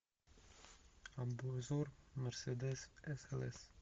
обзор мерседес слс